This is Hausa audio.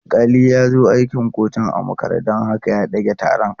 Alƙali ya zo akin kotun a makare don haka ya ɗage taron.